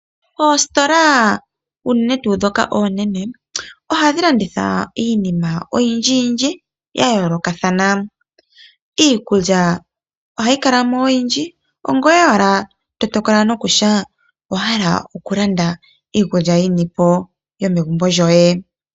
Oositola unene tuu ndhoka oonene ohadhi landitha iinima oyindji yindji yayoolokathana. Iikulya ohayi ohayi kala mo oyindji ongoye owala to tokola nokutya owahala okulanda iikulya yinipo yomegumbo lyoye.